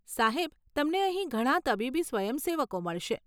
સાહેબ, તમને અહીં ઘણા તબીબી સ્વયંસેવકો મળશે.